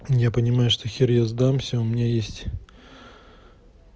я понимаю что хер я сдамся у меня есть